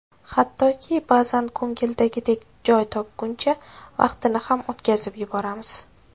Hattoki, ba’zan ko‘ngildagidek joy topguncha vaqtni ham o‘tkazib yuboramiz.